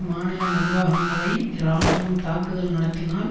மாநில நிர்வாகங்களை இராணுவம் தாக்குதல் நடத்தினால்